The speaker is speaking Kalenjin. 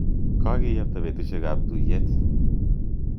Kokeapta petusyek ap tuyet.